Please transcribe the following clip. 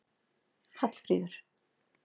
Hallfríður